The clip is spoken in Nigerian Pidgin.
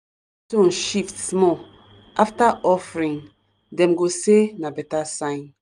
shift small after offering dem go say na better sign.